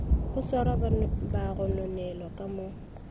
go swarwaga bagononelwa ka mo